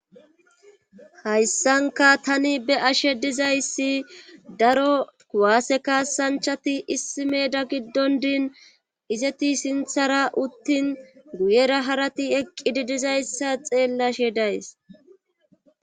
hayssanka tani be ashe dizayssi daro kuwaase kaasanchati issi meda giddon diin izeti sinthara uttin guyera harati eqqi di dizayssa xeellashe days